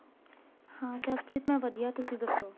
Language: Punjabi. ਹਾਂ ਜਸਪ੍ਰੀਤ ਮੈਂ ਵਧੀਆ ਤੁਸੀਂ ਦੱਸੋ